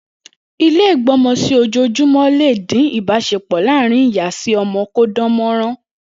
Ilé ìgbọ́mọsí-ojoojùmọ́ le dín ibásepọ̀ láàrin Ìyá-si-ọmọ kó dán mọ́rán.